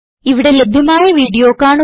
ഇവിടെ ലഭ്യമായ വീഡിയോ കാണുക